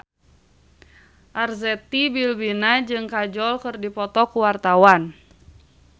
Arzetti Bilbina jeung Kajol keur dipoto ku wartawan